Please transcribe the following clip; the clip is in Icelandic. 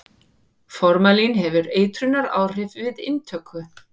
formalín hefur eitrunaráhrif við inntöku